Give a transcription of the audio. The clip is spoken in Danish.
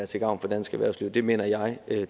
til gavn for dansk erhvervsliv det mener jeg at